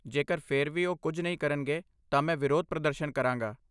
ਜੇਕਰ ਫਿਰ ਵੀ ਉਹ ਕੁਝ ਨਹੀਂ ਕਰਨਗੇ ਤਾਂ ਮੈਂ ਵਿਰੋਧ ਪ੍ਰਦਰਸ਼ਨ ਕਰਾਂਗਾ।